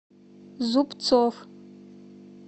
зубцов